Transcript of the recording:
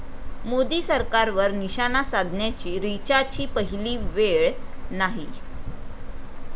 मोदी सरकारवर निशाणा साधण्याची रिचाची पहिली वेळ नाही.